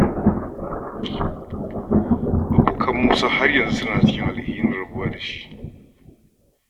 Abokan Musa har yanzu suna cikin alhinin rabuwa da shi.